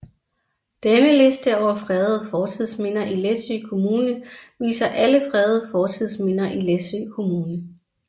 Denne liste over fredede fortidsminder i Læsø Kommune viser alle fredede fortidsminder i Læsø Kommune